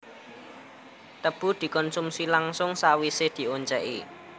Tebu dikonsumsi langsung sawisé dioncèki